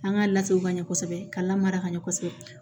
An ka latew ka ɲɛ kosɛbɛ ka lamara ka ɲɛ kosɛbɛ